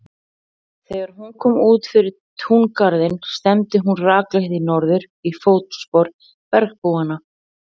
Þegar hún kom út fyrir túngarðinn stefndi hún rakleitt í norður, í fótspor bergbúanna.